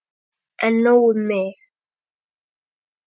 En nóg um mig.